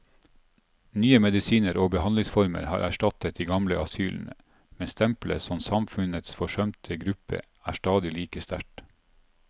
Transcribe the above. Nye medisiner og behandlingsformer har erstattet de gamle asylene, men stempelet som samfunnets forsømte gruppe er stadig like sterkt.